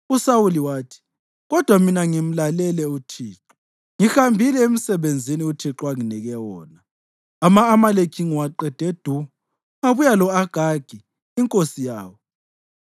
USawuli wathi, “Kodwa mina ngimlalele uThixo. Ngihambile emsebenzini uThixo anginike wona. Ama-Amaleki ngiwaqede du, ngabuya lo-Agagi inkosi yawo.